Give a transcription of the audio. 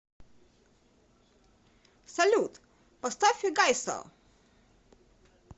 салют поставь пегайсо